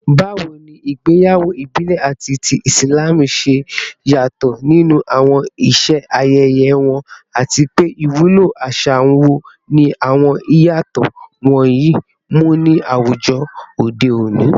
Bawo ni igbeyawo ibile ati ti Islam ṣe yato ninu awọn iṣe ayẹyẹ wọn, ati pe iwulo aṣa wo ni awọn iyatọ wọnyi mu ni awujọ ode oni?